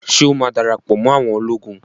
Ṣé ó má darapọ̀ mọ́ awọn ológun?